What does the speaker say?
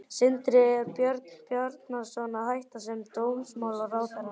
Sindri: Er Björn Bjarnason að hætta sem dómsmálaráðherra?